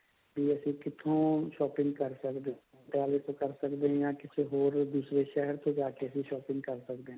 ਕਿ ਅਸੀਂ ਕਿੱਥੋਂ shopping ਕਰ ਸਕਦੇ ਹਾਂ ਪਟਿਆਲੇ ਤੋਂ ਕਰ ਸਕਦੇ ਹਾਂ ਜਾ ਕਿਸੇ ਹੋਰ ਦੂਸਰੇ ਸ਼ਹਿਰ ਤੋਂ shopping ਕਰ ਸਕਦੇ ਹਾਂ